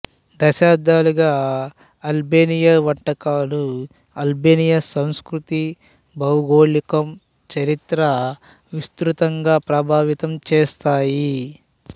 శతాబ్దాలుగా అల్బేనియా వంటకాలను అల్బేనియా సంస్కృతి భౌగోళికం చరిత్ర విస్తృతంగా ప్రభావితంచేసాయి